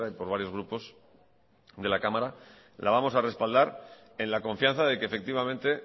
por varios grupos de la cámara la vamos a respaldar en la confianza de que efectivamente